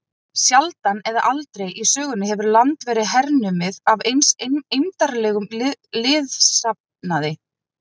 Sjaldan eða aldrei í sögunni hefur land verið hernumið af eins eymdarlegum liðsafnaði.